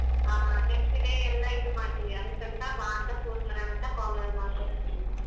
ಆ next day ಎಲ್ಲ ಇದ್ ಮಾಡ್ತೀವಿ ಅದಿಕ್ಕಂತ ಬಾ ಅಂತ phone ಮಾಡೋಣ ಅಂತ call ಮಾಡ್ದೆ.